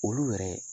Olu yɛrɛ